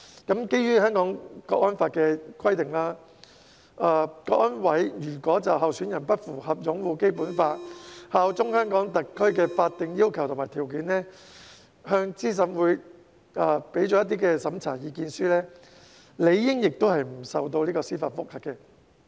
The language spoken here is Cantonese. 基於《香港國安法》的規定，香港國安委如果就候選人不符合擁護《基本法》、效忠香港特區的法定要求和條件，向資審會作出審查意見書，理應不受司法覆核。